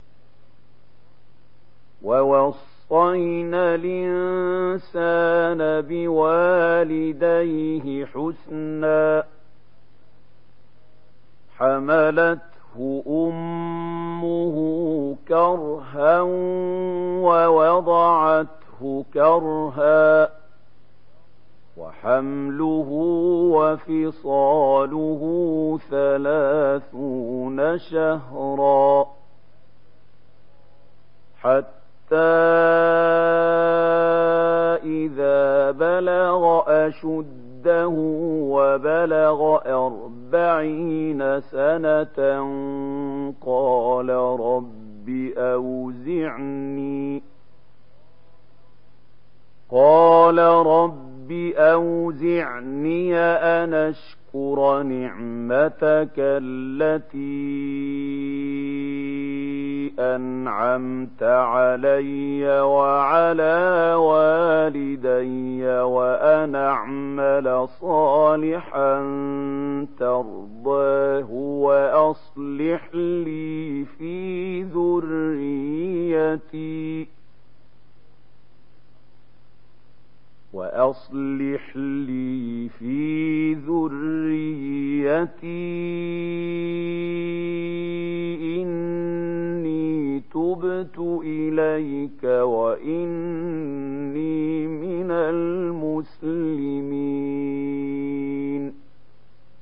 وَوَصَّيْنَا الْإِنسَانَ بِوَالِدَيْهِ إِحْسَانًا ۖ حَمَلَتْهُ أُمُّهُ كُرْهًا وَوَضَعَتْهُ كُرْهًا ۖ وَحَمْلُهُ وَفِصَالُهُ ثَلَاثُونَ شَهْرًا ۚ حَتَّىٰ إِذَا بَلَغَ أَشُدَّهُ وَبَلَغَ أَرْبَعِينَ سَنَةً قَالَ رَبِّ أَوْزِعْنِي أَنْ أَشْكُرَ نِعْمَتَكَ الَّتِي أَنْعَمْتَ عَلَيَّ وَعَلَىٰ وَالِدَيَّ وَأَنْ أَعْمَلَ صَالِحًا تَرْضَاهُ وَأَصْلِحْ لِي فِي ذُرِّيَّتِي ۖ إِنِّي تُبْتُ إِلَيْكَ وَإِنِّي مِنَ الْمُسْلِمِينَ